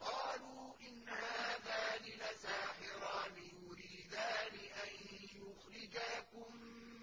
قَالُوا إِنْ هَٰذَانِ لَسَاحِرَانِ يُرِيدَانِ أَن يُخْرِجَاكُم